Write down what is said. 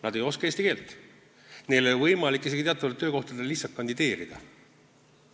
Nad ei oska eesti keelt, neil ei ole võimalik isegi teatavatele töökohtadele kandideerida.